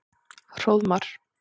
Hróðmar